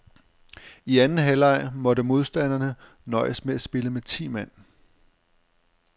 I anden halvleg måtte modstanderne nøjes med at spille med ti mand.